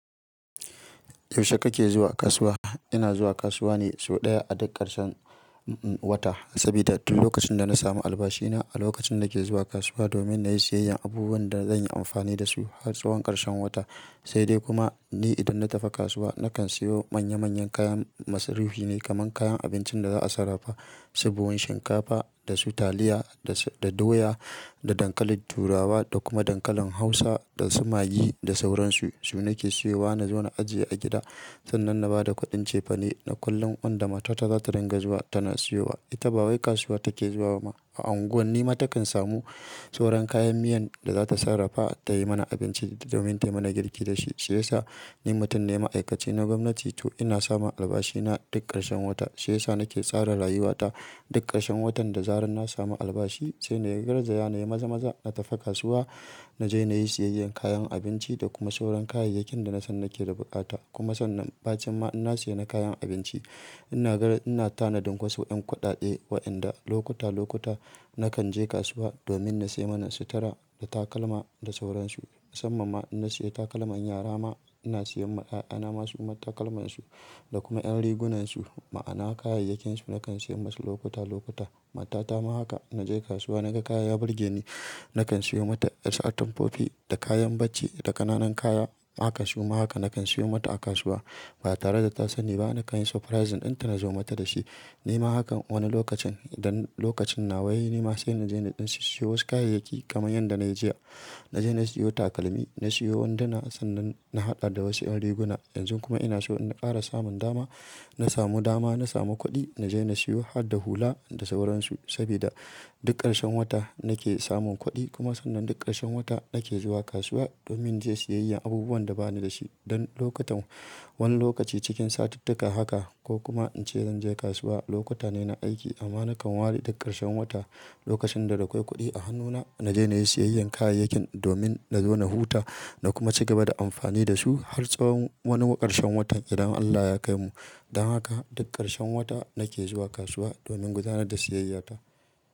Yaushe kake zuwa kasuwa? Ina zuwa kasuwa ne sau ɗaya a duk ƙarshen, uhm, wata sabida duk lokacin da na samu albashi na a lokacin na ke zuwa kasuwa domin na yi siyayyar abubuwan da zan yi amfani da su har tsawon ƙarshen wata. Sai dai kuma ni idan na tafi kasuwa nakan siyo manya manyan kayan masu rufi ne kamar kayan abincin da za a sarrafa, su buhun shinkafa da su taliya da, da doya, da dankalin turawa da kuma dankalin hausa da su magi da sauransu. Su nake siyowa na zo na ajiye a gida sannan na ba da kuɗin cefane na kullum wanda matata za ta dinga zuwa tana siyowa. Ita ba wai kasuwa take zuwa ba ma a unguwan ni ma takan samu sauran kayan miyan da za ta sarrafa ta yi mana abinci domin tayi mana girki da shi. Shi yasa ni mutum ne ma'aikaci na gwamnati to ina samun albashi na duk ƙarshen wata. Shi yasa nake tsara rayuwa ta duk ƙarshen watan da zarar na samu albashi sai na yi garzaya na yi maza-maza na tafi kasuwa. Na je na yi siyayyar kayan abinci da kuma sauran kayayyakin da na san nake da buƙata kuma sannan bacin ma inna sayi na kayan abinci. Ina gar-- ina tanadin wasu ƴan kuɗaɗe waƴanda lokuta lokuta nakan je kasuwa domin na sai mana sutura da takalma da sauransu. Musamman ma inna saye takalman yara ma ina siyan ma 'ya'yana ma suma takalmansu da kuma ƴan rigunansu. Ma'ana kayayyakinsu nakan siyan masu lokuta lokuta. Matata ma haka na je kasuwa naga kaya ya burge ni nakan siyo mata. Wasu atamfofi da kayan bacci da ƙananan kaya haka suma haka nakan siyo mata a kasuwa. Ba tare da ta sani ba nakan yi surprising ɗin ta na zo mata da shi. Ni ma hakan wani lokacin dan lokacin na wai ni ma sai na je na siyo wasu kayayyaki kamar yadda na yi jiya. Na je na sayo takalmi, na sayo wanduna sannan na haɗa da wasu ƴan riguna. Yanzu kuma ina so inna ƙara samun dama. Na samu dama, na samu kuɗi na je na sayo hadda hula da sauransu sabida duk ƙarshen wata nake samun kuɗi. Kuma sannan duk ƙarshen wata nake zuwa kasuwa domin inje siyayyar abubuwan da bani da shi don lokutan. Wani lokaci cikin satittika haka ko kuma in ce zan je kasuwa. Lokuta ne na aiki amma nakan ware duk ƙarshen wata lokacin da dakwai kuɗi a hannuna na je na yi siyayyar kayayyakin domin na zo na huta na kuma ci gaba da amfani da su har tsawon wani ƙarshen watan idan Allah ya kaimu. Dan haka duk ƙarshen wata nake zuwa kasuwa domin gudanar da siyayya ta.